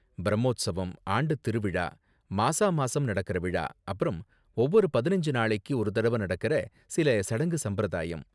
பிரம்மோத்ஸவம், ஆண்டுத் திருவிழா, மாசா மாசம் நடக்கற விழா அப்பறம் ஒவ்வொரு பதினஞ்சு நாளைக்கு ஒரு தடவ நடக்கற சில சடங்கு சம்பிரதாயம்.